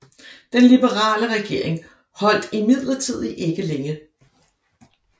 Den liberale regering holdt imidlertid ikke længe